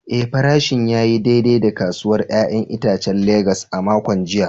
Eh, farashin ya yi daidai a kasuwar ‘ya’yan itacen Legas a makon jiya.